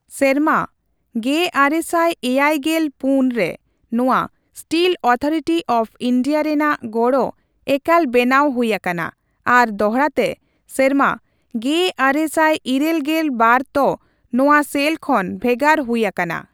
ᱥᱮᱨᱢᱟ ᱑᱙᱗᱔ ᱨᱮ ᱱᱚᱣᱟ ᱥᱴᱤᱞ ᱚᱛᱷᱟᱨᱤᱴᱤ ᱚᱯᱷ ᱤᱱᱰᱤᱭᱟ ᱨᱮᱱᱟᱜ ᱜᱚᱲᱚ ᱮᱠᱟᱞ ᱵᱮᱱᱟᱣ ᱦᱩᱭ ᱟᱠᱟᱱᱟ ᱟᱨ ᱫᱚᱦᱲᱟᱛᱮ ᱥᱮᱨᱢᱟ ᱑᱙᱘᱒ ᱛ ᱱᱚᱣᱟ ᱥᱮᱞ ᱠᱷᱚᱱ ᱵᱷᱮᱜᱟᱨ ᱦᱩᱭ ᱟᱠᱟᱱᱟ᱾